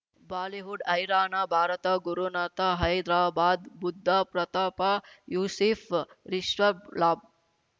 Bollywood ಹೈರಾಣ ಭಾರತ ಗುರುನಾಥ ಹೈದ್ರಾಬಾದ್ ಬುದ್ದ ಪ್ರತಾಪ ಯೂಸಿಫ್ ರಿಷಬ್ ಲಾಬ್